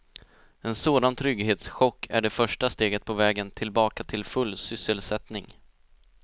En sådan trygghetschock är det första steget på vägen tillbaka till full sysselsättning.